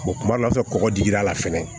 kuma dɔ la kɔkɔ digir'a la fɛnɛ